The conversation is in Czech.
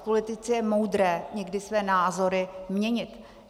V politice je moudré někdy své názory měnit.